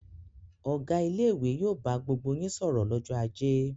Ọ̀gá ilé-ìwé yóò bá gbogbo yín sọ̀rọ̀ lọ́jọ́ ajé!